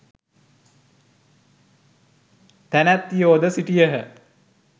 තැනැත්තියෝද සිටියහ.